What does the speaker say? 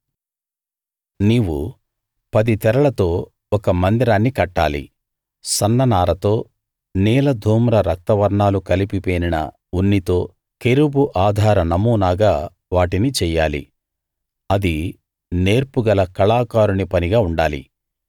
నీవు పది తెరలతో ఒక మందిరాన్ని కట్టాలి సన్న నారతో నీల ధూమ్ర రక్త వర్ణాలు కలిపి పేనిన ఉన్నితో కెరూబు ఆధార నమూనాగా వాటిని చెయ్యాలి అది నేర్పుగల కళాకారుని పనిగా ఉండాలి